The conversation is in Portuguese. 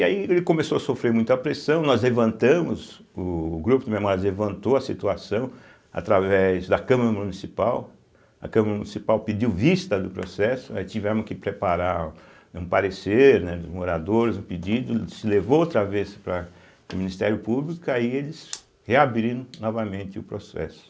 E aí ele começou a sofrer muita pressão, nós levantamos, o o grupo de memórias levantou a situação através da Câmara Municipal, a Câmara Municipal pediu vista do processo, aí tivemos que preparar um parecer, né, dos moradores, um pedido, se levou outra vez para o Ministério Público, aí eles reabriram novamente o processo.